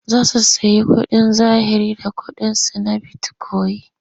Za su sayi kuɗin zahiri da ƙuɗinsu na bitikoyin.